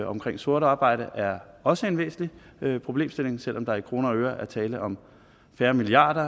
omkring sort arbejde er også en væsentlig problemstilling selv om der i kroner og øre er tale om færre milliarder